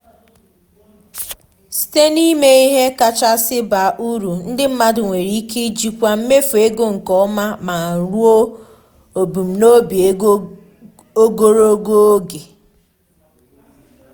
site na ịma ìhè kachasị ba uru ndi mmadụ nwere ike ijikwa mmefu ego nke ọma ma ruo ebumnobi ego ogologo oge.